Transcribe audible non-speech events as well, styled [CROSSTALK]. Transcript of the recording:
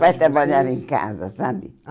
[UNINTELLIGIBLE] Meu pai trabalhava em casa, sabe?